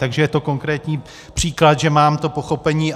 Takže je to konkrétní příklad, že mám to pochopení.